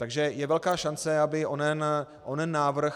Takže je velká šance, aby onen návrh